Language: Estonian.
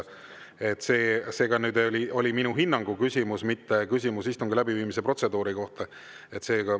See oli ka küsimus minu hinnangu kohta, mitte küsimus istungi läbiviimise protseduuri kohta.